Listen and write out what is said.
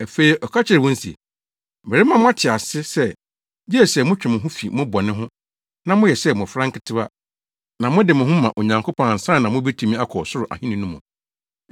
Afei ɔka kyerɛɛ wɔn se, “Merema mo ate ase sɛ, gye sɛ motwe mo ho fi mo bɔne ho, na moyɛ sɛ mmofra nketewa, na mode mo ho ma Onyankopɔn ansa na mubetumi akɔ Ɔsoro Ahenni no mu.”